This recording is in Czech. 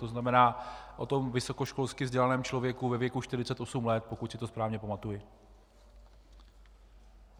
To znamená, o tom vysokoškolsky vzdělaném člověku ve věku 48 let, pokud si to správně pamatuji.